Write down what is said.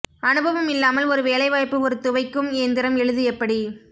அனுபவம் இல்லாமல் ஒரு வேலைவாய்ப்பு ஒரு துவைக்கும் இயந்திரம் எழுது எப்படி